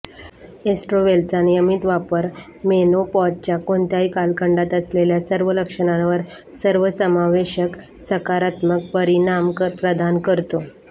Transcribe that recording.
एस्ट्रोव्हेलचा नियमित वापर मेनोपॉजच्या कोणत्याही कालखंडात असलेल्या सर्व लक्षणांवर सर्वसमावेशक सकारात्मक परिणाम प्रदान करतो